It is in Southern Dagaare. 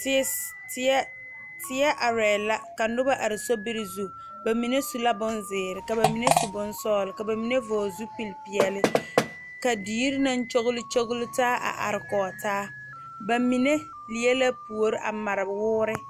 Tie tie arɛɛ ka noba be soriŋ ba mine su la bonzeere ka ba mine su bonsɔgelɔ ka ba mine vɔgele zupili peɛle ka dier naŋ kyogle taa a are koge taabba mine leɛ la puoriŋ a mare woore